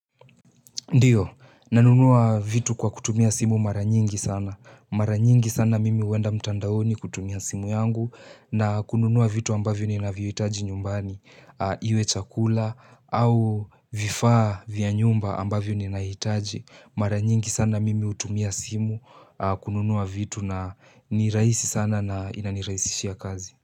Ndiyo, nanunua vitu kwa kutumia simu mara nyingi sana. Mara nyingi sana mimi huenda mtandaoni kutumia simu yangu na kununua vitu ambavyo ninavyohitaji nyumbani. Iwe chakula au vifaa vya nyumba ambavyo ninahitaji. Mara nyingi sana mimi hutumia simu kununua vitu na ni rahisi sana na inanirahisishia kazi.